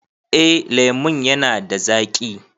Eh lemon ya na da zaƙi